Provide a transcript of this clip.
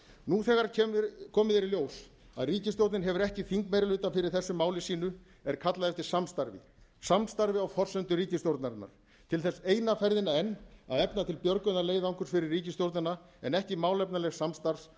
nú þegar komið er í ljós að ríkisstjórnin hefur ekki þingmeirihluta fyrir þessu máli sínu er kallað eftir samstarfi samstarfi á forsendum ríkisstjórnarinnar til þess eina ferðina enn að efla til björgunarleiðangurs fyrir ríkisstjórnin en ekki málefnalegs samstarfs